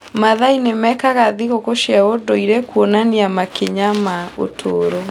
Maathai nĩ mekaga thigũkũ cia ũndũire kuonania makinya ma ũtũũro.